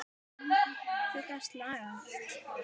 Þú gast lagað allt.